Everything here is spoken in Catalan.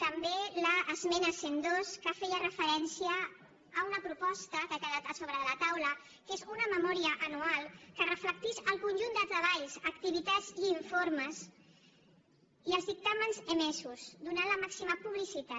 també l’esmena cent i dos que feia referència a una proposta que ha quedat a sobre de la taula que és una memòria anual que reflectís el conjunt de treballs activitats i informes i els dictàmens emesos donant hi la màxima publicitat